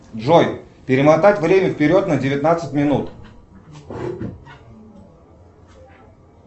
джой перемотать время вперед на девятнадцать минут